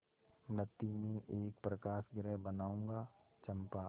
मृति में एक प्रकाशगृह बनाऊंगा चंपा